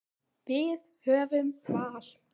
Við höfum val.